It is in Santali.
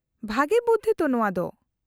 -ᱵᱷᱟᱜᱮ ᱵᱩᱫᱫᱷᱤ ᱛᱚ ᱱᱚᱶᱟ ᱫᱚ ᱾